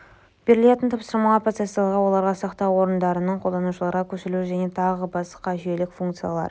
берілетін тапсырмаларды процессорларға оларды сақтау орындарынан қолданушыларға көшірілуі және тағы басқа жүйелік функциялар